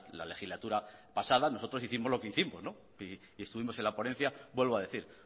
la legislatura pasada nosotros hicimos lo que hicimos y estuvimos en la ponencia vuelvo a decir